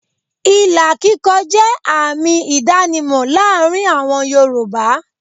Ìlà kíkọ jẹ́ àmì ìdánimọ̀ láàárín àwọn Yorùbá.